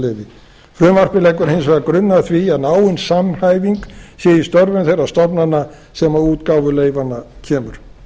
atvinnuleyfi frumvarpið leggur hins vegar grunninn að því að náin samhæfing sé í störfum þeirra stofnana sem að útgáfu leyfanna kemur